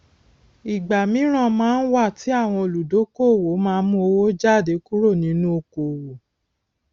ìgbà míran máa ń wà tí àwọn olùdókoòwò má mú owó jáde kúrò nínú okoòwò